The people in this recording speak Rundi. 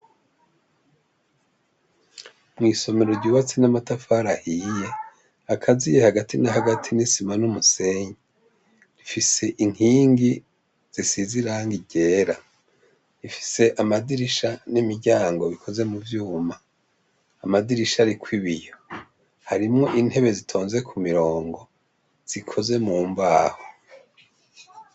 Mwisomero ryubatse n'amatafara ahiye akaziye hagati nahagati n'isima n'umusenyi rifise inkingi zisize irangi ryera rifise amadirisha n'imiryango bikoze mu vyuma amadirisha ariko ibiyo harimwo intebe zitonze ku mirongo zikoze mu mbaho.